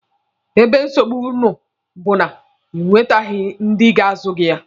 Ebe nsogbu nụ bụ na ị nwete ndị ga-azụ gị ya.